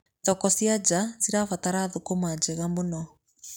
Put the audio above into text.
Thoko cia nja cibataraga thũkũma njega mũno.